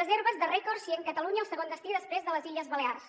reserves de rècord sent catalunya el segon destí després de les illes balears